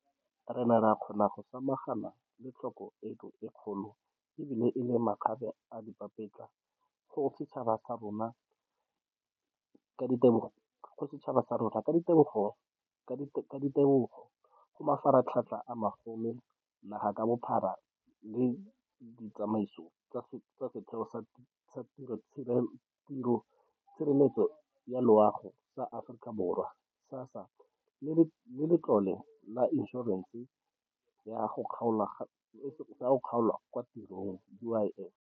Re ne ra kgona go samagana le tlhoko eno e kgolo ebile e le makgabeadipapetla go setšhaba sa rona ka ditebogo go mafaratlhatlha a magolo naga ka bophara le ditsamaiso tsa Setheo sa Tshireletso ya Loago sa Aforika Borwa, SASSA, le Letlole la Inšorense ya go Kgaolwa kwa Tirong, UIF.